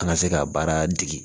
An ka se ka baara dege